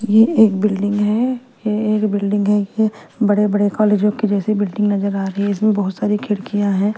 ये एक बिल्डिंग है ये एक बिल्डिंग है ये बड़े-बड़े कॉलेजो के जैसे बिल्डिंग नजर आ रही है इसमें बहुत सारी खिड़कियाँ हैं।